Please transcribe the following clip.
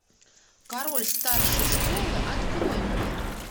король старшей школы открой мне